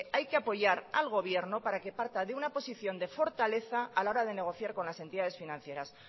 hay que apoyar al gobierno para que parta de una posición de fortaleza a la hora de negociar con las entidades financieras